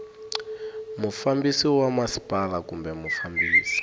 mufambisi wa masipala kumbe mufambisi